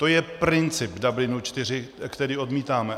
To je princip Dublinu IV, který odmítáme.